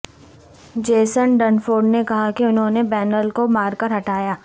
Jason Dunford نے کہا کہ انھوں نے بینل کو مار کر ہٹایا